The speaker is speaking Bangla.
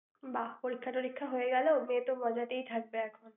বাহ! পরীক্ষা-টরিক্ষা হয়ে গেলেও, মেয়ে তো মজাতেই থাকবে এখন!